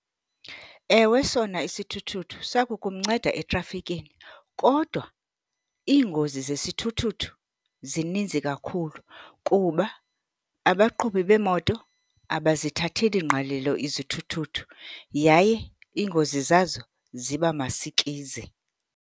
Ewe, sona isithuthuthu siya kukumnceda etrafikeni. Kodwa iingozi zesithuthuthu zininzi kakhulu kuba abaqhubi beemoto abazithatheli ngqalelo izithuthuthu yaye iingozi zazo ziba masikizi.